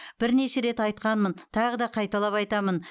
бірнеше рет айтқанмын тағы да қайталап айтамын